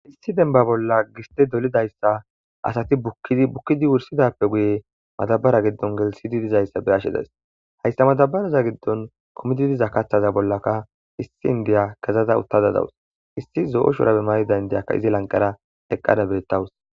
Issi demba bolla gistay do'olidaysay asati bukkid bukkidas guye madabarani gelithidi dizaysay be'ash daysi issi kezaday utadey dawusu issi zo'o shurbay,mayid inday eqaday dawusu